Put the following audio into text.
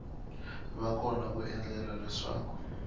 va kona ku endlela leswaku